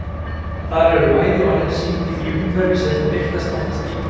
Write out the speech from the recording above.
Þar eru bæði orðin sýnd í því umhverfi sem þau birtast oftast í.